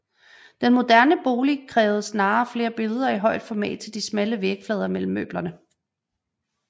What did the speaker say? Den moderne bolig krævede snarere flere billeder i højt format til de smalle vægflader mellem møblerne